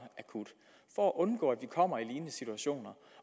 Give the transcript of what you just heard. akut for at undgå at vi kommer i lignende situationer